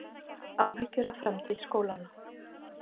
Áhyggjur af framtíð skólanna